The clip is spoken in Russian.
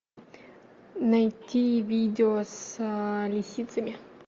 найти видео с лисицами